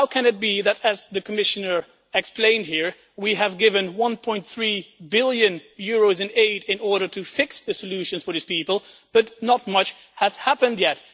How can it be that, as the Commissioner explained here, we have given EUR 1.3 billion in aid in order to fix the solutions for these people, but not much has happened yet.